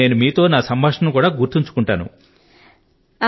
ఇప్పుడు నేను మీతో నా సంభాషణ ను కూడా గుర్తుంచుకొంటాను